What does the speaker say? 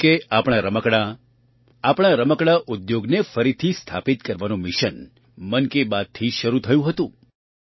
જેમ કે આપણાં રમકડાં આપણા રમકડા ઉદ્યોગને ફરીથી સ્થાપિત કરવાનું મિશન મન કી બાતથી જ શરૂ થયું હતું